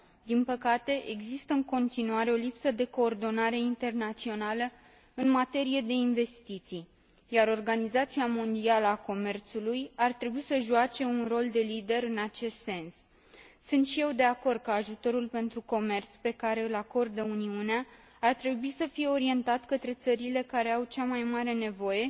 Din păcate, există în continuare o lipsă de coordonare internațională în materie de investiții, iar Organizația Mondială a Comerțului ar trebui să joace un rol de lider în acest sens. Sunt și eu de acord că ajutorul pentru comerț pe care îl acordă Uniunea ar trebui să fie orientat către țările care au cea mai mare nevoie,